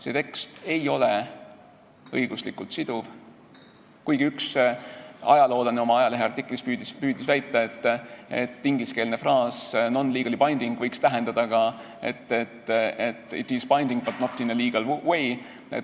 See tekst ei ole õiguslikult siduv, kuigi üks ajaloolane oma ajaleheartiklis püüdis väita, et ingliskeelne fraas non-legally binding võiks tähendada ka it is binding, but not in a legal way.